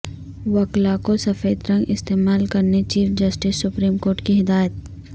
وکلا کو سفید رنگ استعمال کرنے چیف جسٹس سپریم کورٹ کی ہدایت